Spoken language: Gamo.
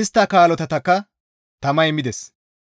istta kolatatakka tamay mides.